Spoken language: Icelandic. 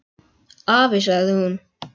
Afi, sagði hún.